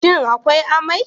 Shin akwai amai?